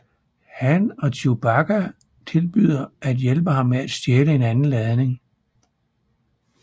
Han og Chewbacca tilbyder at hjælpe ham med at stjæle en anden ladning